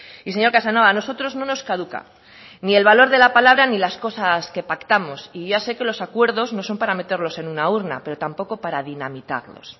y señor casanova a nosotros no nos caduca ni el valor de la palabra ni las cosas que pactamos y ya sé que los acuerdos no son para meterlos en una urna pero tampoco para dinamitarlos